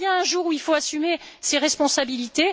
Il y a bien un jour où il faut assumer ses responsabilités.